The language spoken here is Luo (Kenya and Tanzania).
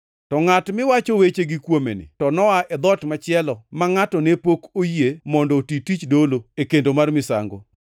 To ngʼat miwacho wechegi kuomeni to noa e dhoot machielo ma ngʼato ne pok oyie mondo oti tich dolo e kendo mar misango.